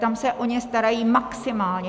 Tam se o ně starají maximálně.